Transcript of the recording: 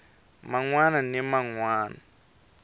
man wana ni man wana